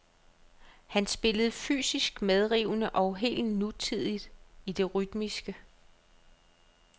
Han spillede fysisk medrivende og helt nutidigt i det rytmiske.